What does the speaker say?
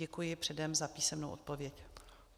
Děkuji předem za písemnou odpověď.